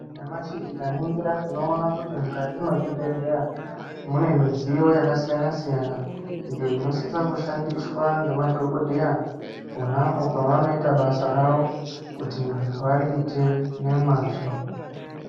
Nyamashi tikaningira tinoona kuti mukati mwezvibhehlera mune midziyo yakasiyana siyana, iyo inosise kushandiswa ngemadhokoteya ponapo pevanoite basa ravo kuti variite ngemazvo.